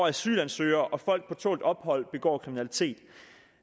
asylansøgere og folk på tålt ophold begår kriminalitet